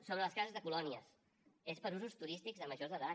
sobre les cases de colònies és per a usos turístics de majors d’edat